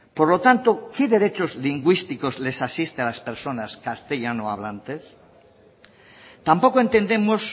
por lo tanto qué derechos lingüísticos les asiste a las personas castellano hablantes tampoco entendemos